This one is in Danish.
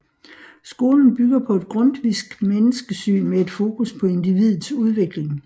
Skolen bygger på et grundtvisk menneskesyn med et fokus på individets udvikling